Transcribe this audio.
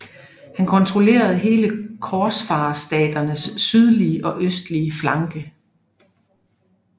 Han kontrollerede hele korsfarerstaternes sydlige og østlige flanke